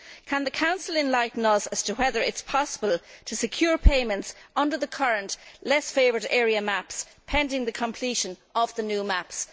Can the Council enlighten us as to whether it is possible to secure payments under the current Less Favoured Area maps pending the completion of the new maps?